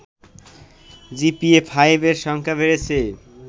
GPA five এর সংখ্যা বেড়েছে